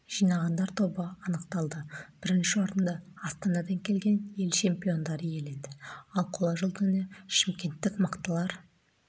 жинағандар тобы анықталды бірінші орынды астанадан келген ел чемпиондары иеленді ал қола жүлдені шымкенттік мықтылар